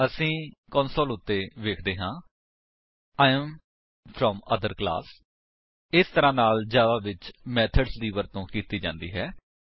ਅਸੀ ਕੰਸੋਲ ਉੱਤੇ ਵੇਖਦੇ ਹਾਂ I am from other class ਇਸ ਤਰਾਂ ਨਾਲ ਜਾਵਾ ਵਿੱਚ ਮੇਥਡਸ ਦੀ ਵਰਤੋ ਕਰਦੇ ਹਨ